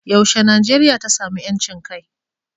yaushe Najeriya ta samu 'yancin kai?